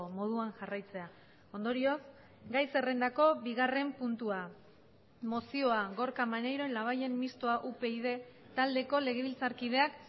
moduan jarraitzea ondorioz gai zerrendako bigarren puntua mozioa gorka maneiro labayen mistoa upyd taldeko legebiltzarkideak